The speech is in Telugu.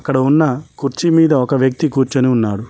ఇక్కడ ఉన్న కుర్చి మీద ఒక వ్యక్తి కూర్చొని ఉన్నారు.